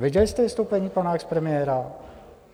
Viděli jste vystoupení pana expremiéra?